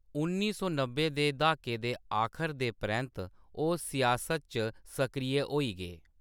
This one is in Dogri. उन्नी सौ नब्बै दे द्हाके दे आखर दे परैंत्त, ओह्‌‌ सियासत च सक्रिय होई गे।